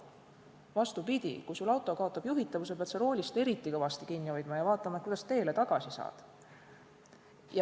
Vastupidi, kui auto kaotab juhitavuse, pead sa roolist eriti kõvasti kinni hoidma ja vaatama, kuidas teele tagasi saad.